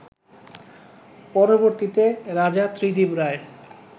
পরবর্তীতে রাজা ত্রিদিব রায়